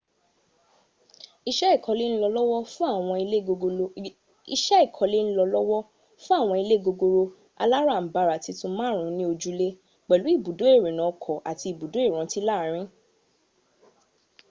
iṣẹ́ ìkọlé ń lọ lọ́wọ́ fún àwọn ilé gogoro alárànbarà titun márùn-ún ní ojúlé un ni ojule pẹ̀lú ibùdó ìrìnà ọkọ̀ àti ibùdó ìrántí láàrin